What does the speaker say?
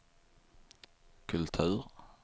kultur